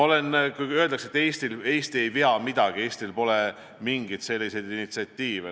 Öeldakse, et Eesti ei vea midagi, Eestil pole mingeid initsiatiive.